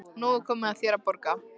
Og nú er komið að þér að borga.